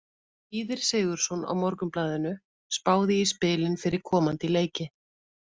Víðir Sigurðsson á Morgunblaðinu spáði í spilin fyrir komandi leiki.